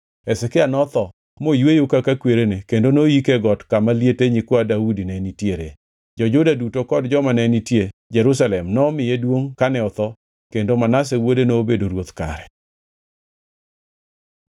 Hezekia notho moyweyo kaka kwerene kendo noyike e got kama liete nyikwa Daudi ne nitiere. Jo-Juda duto kod joma ne nitie Jerusalem nomiye duongʼ kane otho kendo Manase wuode nobedo ruoth kare.